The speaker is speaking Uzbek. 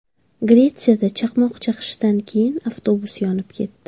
Gretsiyada chaqmoq chaqishidan keyin avtobus yonib ketdi.